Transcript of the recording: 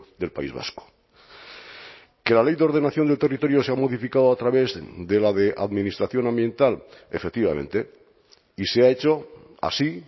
del país vasco que la ley de ordenación del territorio se ha modificado a través de la de administración ambiental efectivamente y se ha hecho así